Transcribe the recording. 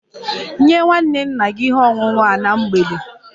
Nye nwa nwanne nna gị ihe ọṅụṅụ a na mgbede!